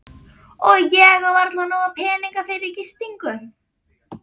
Og ég á varla nóga peninga fyrir gistingu.